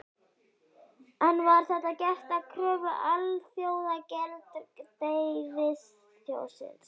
En var þetta gert að kröfu Alþjóðagjaldeyrissjóðsins?